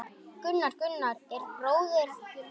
Gunnar, Gunnar er bróðir minn.